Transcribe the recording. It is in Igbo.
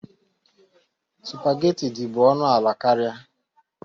Sụpagheti dị bụ ọnụ ala karịa.